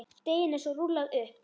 Deiginu er svo rúllað upp.